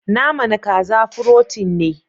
Naman kaza " frotein ne.